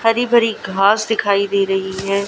हरी भरी घास दिखाई दे रही है।